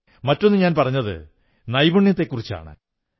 മറ്റൊന്നു ഞാൻ പറഞ്ഞത് നൈപുണ്യത്തെക്കുറിച്ചാണ്